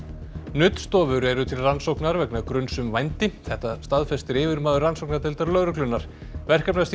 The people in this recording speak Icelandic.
nuddstofur eru til rannsóknar vegna gruns um vændi þetta staðfestir yfirmaður rannsóknardeildar lögreglunnar